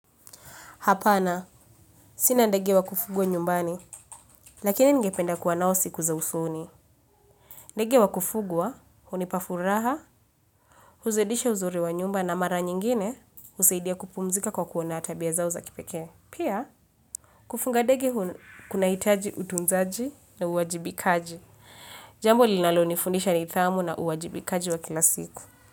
Hapana, sina ndege wa kufugwa nyumbani, lakini ningependa kuwa nao siku za usoni. Ndege wa kufugwa, hunipafuraha, huzidisha uzuri wa nyumba na mara nyingine, husaidia kupumzika kwa kuona tabia zao za kipeke. Pia, kufuga ndege kuna hitaji utunzaji na uwajibikaji. Jambo linalo nifundisha ni thamu na uwajibikaji wa kila siku.